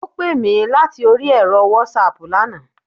Ó pè mí láti orí ẹ̀rọ Wásaàpù lana